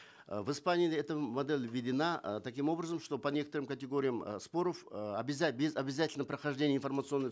э в испании эта модель введена э таким образом что по некоторым категориям э споров э обязать без обязательного прохождения информационной